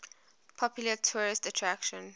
popular tourist attraction